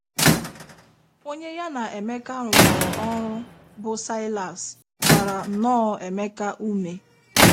Onye ya na Emeka rụkọrọ ọrụ, bụ́ Saịlas, gbara nnọọ Emeka ume.